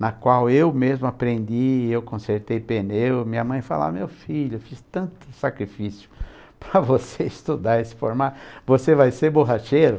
na qual eu mesmo aprendi, eu consertei pneu, minha mãe falou assim, meu filho, fiz tanto sacrifício para você estudar e se formar, você vai ser borracheiro?